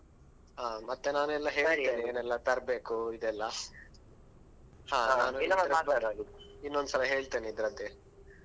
ಮತ್ತೆ ನಾನೆಲ್ಲ ಹೇಳ್ತೇನೆ ಏನೆಲ್ಲಾ ತರ್ಬೇಕು ಇದೆಲ್ಲಾ ಇನ್ನೊಂದು ಸಲ ಹೇಳ್ತೇನೆ ಇದ್ರದ್ದೇ.